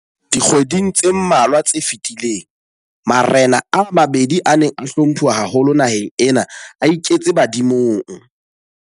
Dikgweding tse mmalwa tse fetileng, marena a mabedi a neng a hlomphuwa haholo naheng ena a iketse badimong.